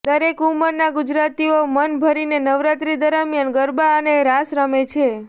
દરેક ઉંમરના ગુજરાતીઓ મન ભરીને નવરાત્રી દરમિયાન ગરબા અને રાસ રમે છે